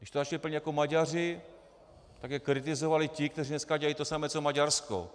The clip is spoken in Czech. Když to začaly plnit jako Maďaři, tak je kritizovali ti, kteří dneska dělají to samé jako Maďarsko.